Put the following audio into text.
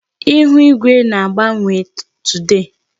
Ịhụ igwe na-agbanwe today.